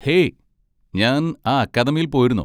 Hey! ഞാൻ ആ അക്കാദമിയിൽ പോയിരുന്നു.